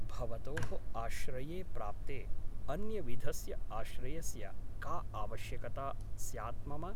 भवतोः आश्रये प्राप्ते अन्यविधस्य आश्रयस्य का आवश्यकता स्यात् मम ?